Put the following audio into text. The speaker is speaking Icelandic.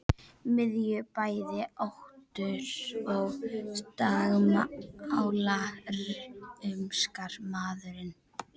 Miðju bæði óttu og dagmála rumskar maðurinn.